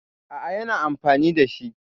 A'a, yana amfani da shi.